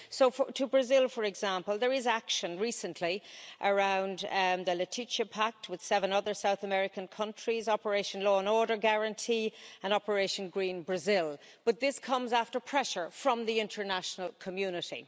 So to Brazil, for example, there is action recently around the Leticia Pact with seven other South American countries, Operation Law and Order Guarantee and Operation Green Brazil, but this comes after pressure from the international community.